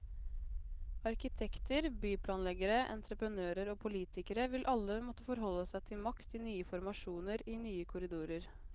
Arkitekter, byplanleggere, entreprenører og politikere vil alle måtte forholde seg til makt i nye formasjoner, i nye korridorer.